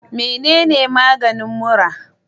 Mene maganin mura?